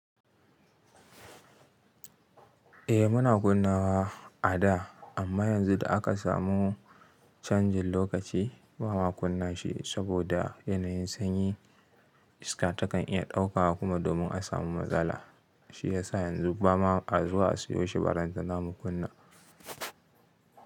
Eh muna kunnawa ada amma yanzu da aka samu chanjin lokaci bama kunna shi saboda lokacin sanyi iska takan iya ɗauka kuma domin a samu matsala shi yasa yanzu ba ma a zuwa a siyo shi barantana mu kunna.